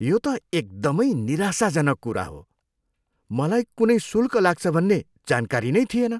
यो त एकदमै निराशाजनक कुरा हो। मलाई कुनै शुल्क लाग्छ भन्ने जानकारी नै थिएन।